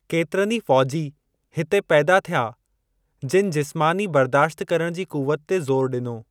केतिरनि ई फ़ौजी हिते पैदा थिया जिनि जिस्मानी बर्दाश्त करण जी क़ूवत ते ज़ोरु ॾिनो।